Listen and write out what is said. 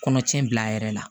Kɔnɔtiɲɛ bila a yɛrɛ la